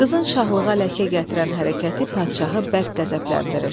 Qızın şahlığına ləkə gətirən hərəkəti padşahı bərk qəzəbləndirir.